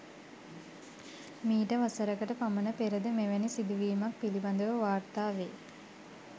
මීට වසරකට පමණ පෙරද මෙවැනි සිදුවීමක් පිළිබඳව වාර්තාවේ.